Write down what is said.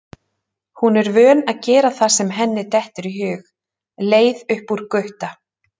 Hún er vön að gera það sem henni dettur í hug, leið upp úr Gutta.